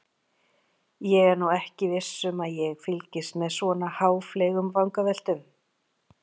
Ég er nú ekki viss um að ég fylgist með svona háfleygum vangaveltum.